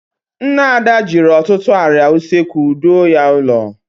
Nne Ada jiri ọtụtụ arịa usekwu doo ya ụlọ.